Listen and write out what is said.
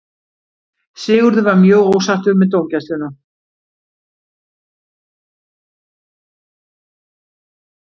Sigurður var mjög ósáttur með dómgæsluna.